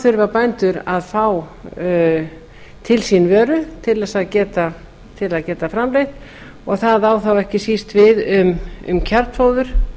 þurfa bændur að fá til sín vöru til að geta framleitt og það á þá ekki síst við um kjarnfóður